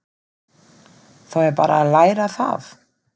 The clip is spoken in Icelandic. Þá er bara að læra það!